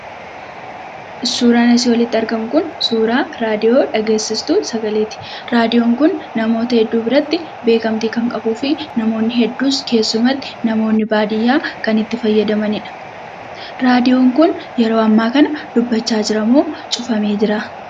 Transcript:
Suuraan asii olitti argamu kun suuraa raadiyoo dhageessistuu sagaleeti. Raadiyoon kun namoota hedduu biratti beekamtii kan qabuu fi namoonni hedduus keessumatti namoonni baadiyyaa kan itti fayyadamaniidha. Raadiyoon kun yeroo ammaa kana dubbachaa jiramoo cufamee jiraa?